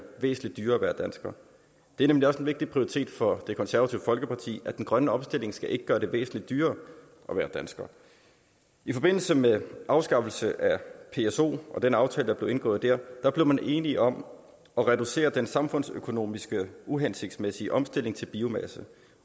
væsentlig dyrere at være dansker det er nemlig også en vigtig prioritet for det konservative folkeparti at den grønne omstilling ikke skal gøre det væsentlig dyrere at være dansker i forbindelse med afskaffelsen af psoen og den aftale der blev indgået der der blev man enige om at reducere den samfundsøkonomiske uhensigtsmæssige omstilling til biomasse